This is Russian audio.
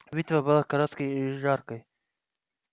битва была короткой и жаркой